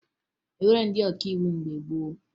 E nweghi ndị ọkàiwu mgbe gboo